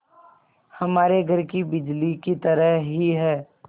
हमारे घर की बिजली की तरह ही है